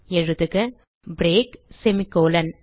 எழுதுக break semicolon